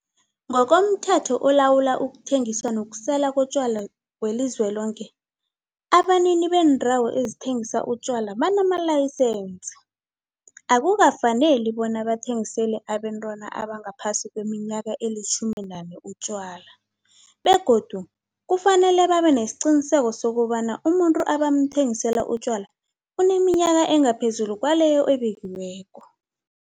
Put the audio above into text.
NgokomThetho oLawula ukuThengiswa nokuSelwa koTjwala weliZweloke, abanini beendawo ezithengisa utjwala abanamalayisensi, akukafaneli bona bathengisele abentwana abangaphasi kweminyaka eli-18 utjwala. Begodu kufanele babe nesiqiniseko sokobana umuntu abamthengisela utjwala uneminyaka engaphezulu kwaleyo ebekiweko.